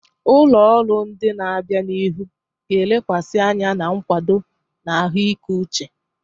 Ụlọ ọrụ ndị na-abịa n'ihu ga-elekwasị anya na nkwado na ahụike uche.